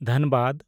ᱫᱷᱟᱱᱵᱟᱫᱽ